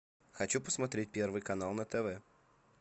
хочу посмотреть первый канал на тв